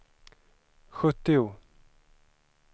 sjuttio